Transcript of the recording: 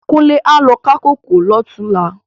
Kunle á lo ká kókòó lòtúnlá